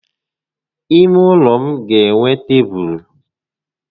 Ímé ụlọ m ga enwe tébulu